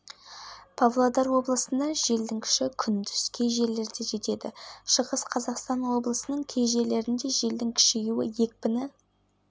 жамбыл облысының кей жерлерінде желдің күші күшейеді кей жерлерде түнде және таңертең тұман болады атырау облысының